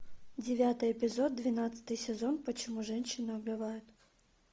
девятый эпизод двенадцатый сезон почему женщины убивают